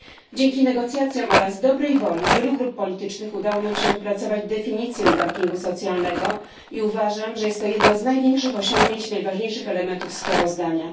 Dzięki negocjacjom oraz dobrej woli wielu grup politycznych udało nam się wypracować definicję dumpingu socjalnego i uważam, że jest to jedno z największych osiągnięć i najważniejszych elementów sprawozdania.